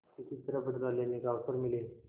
किसी तरह बदला लेने का अवसर मिले